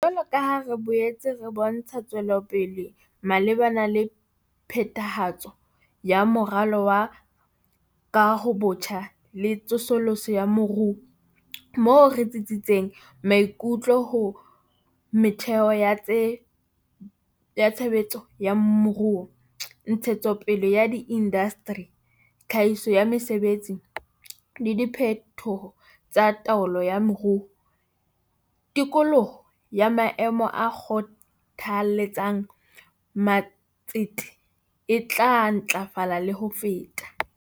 Jwalo ka ha re boetse re bontsha tswelopele malebana le phethahatso ya Moralo wa Kahobotjha le Tsosoloso ya Moruo moo re tsitsisitseng maikutlo ho metheo ya tshe betso ya moruo, ntshetsopele ya diindasteri, tlhahiso ya mesebetsi, le diphetoho tsa taolo ya moruo tikoloho ya maemo a kgothaletsang ma tsete e tla ntlafala le ho feta.